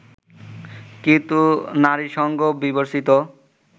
কিন্তু নারীসঙ্গ বিবর্জিত